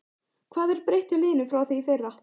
Hvað er breytt hjá liðinu frá því í fyrra?